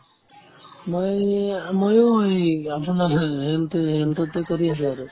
মই এইয়া ময়ো এই ৰামচৰণ নাথৰ টোতে কৰি আছো আৰু